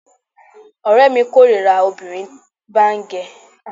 Ọ̀rẹ́mi kórira kí obìnrin bá ń gẹ irun tí ó lọlẹ̀.